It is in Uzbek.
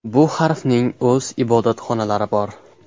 Bu harfning o‘z ibodatxonalari bor.